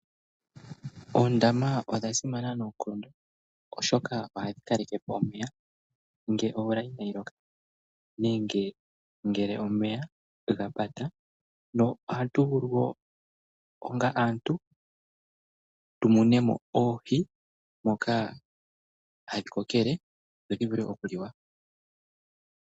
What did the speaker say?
Oondama odha simana noonkondo oshoka ohadhi kalekepo omeya ngele omvula inayi loka nenge ngele omeya gapata, noha tuvulu woo onga aantu tumunemo oohi moka hadhi kokele dho dhivule okuliwa.